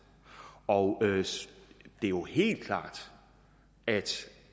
og det er jo helt klart